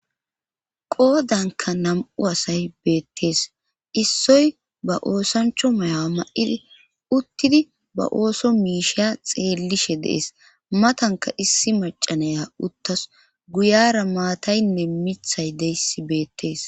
Qoodanka nam7u asay beettees issoy ba oosancho mayaa ma7idi uttidi ba ooso miisheya xeellishe dees matanka issi macanaya uttas guyara maataynne mithay deyssi beettees